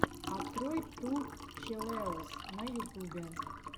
открой ту челэуз на ютубе